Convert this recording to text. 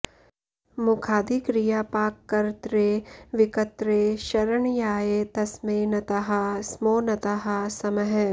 मखादिक्रियापाककर्त्रे विकर्त्रे शरण्याय तस्मै नताः स्मो नताः स्मः